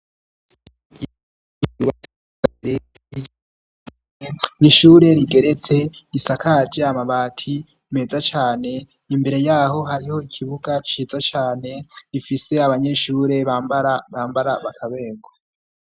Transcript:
Iiwa sigare rige n ishure rigeretse isakaje amabati meza cane imbere yaho hariho ikibuga ciza cane rifise abanyeshure bamaabambara bakaberwa.